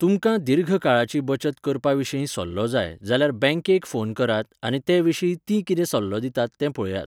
तुमकां दीर्घकाळाची बचत करपाविशीं सल्लो जाय, जाल्यार बँकेक फोन करात आनी तेविशीं ती कितें सल्लो दितात तें पळयात.